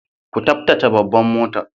Ku taftace babban motar.